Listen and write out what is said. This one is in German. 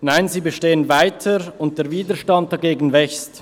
Nein, sie bestehen weiter, und der Widerstand dagegen wächst.